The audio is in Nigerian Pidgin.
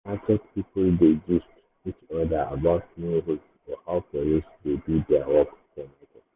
market people dey gist each other about new rules or how police dey do their work for market.